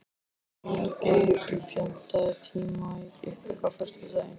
Magngeir, pantaðu tíma í klippingu á föstudaginn.